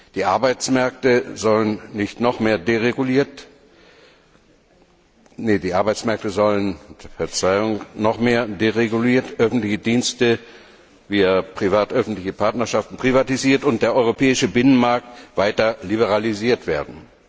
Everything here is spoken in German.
Die Arbeitsmärkte sollen noch mehr dereguliert, öffentliche Dienste via privat öffentliche Partnerschaften privatisiert und der europäische Binnenmarkt weiter liberalisiert werden.